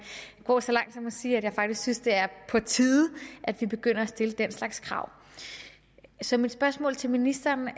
gå så langt som til at sige at jeg faktisk synes det er på tide at vi begynder at stille den slags krav så mit spørgsmål til ministeren